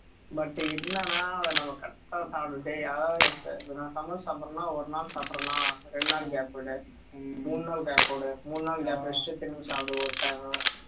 but என்னன்னா நம்ம correct ஆ சாப்பிட்டுட்டு யாராவது சமோசா சாப்பிடணும்னா ஒருநாள் சாப்பிடுறனா ரெண்டு நாள் gap விடு மூணு நாள் gap விடு மூனு நாள் gap விட்டுட்டு பின்னுக்கு சாப்பிடு ஒரு time க்கு